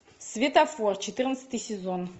светофор четырнадцатый сезон